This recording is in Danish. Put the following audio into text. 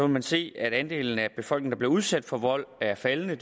man se at andelen af befolkningen der bliver udsat for vold er faldende og